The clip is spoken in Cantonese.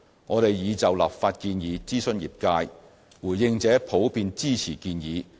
我們已就立法建議諮詢業界，回應者普遍支持建議。